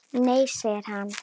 Nei segir hann.